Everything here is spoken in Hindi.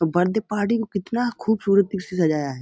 अ बर्थडे पार्टी को कितना खूबसूरत से सजाया है।